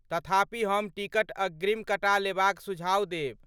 तथापि हम टिकट अग्रिम कटा लेबाक सुझाओ देब।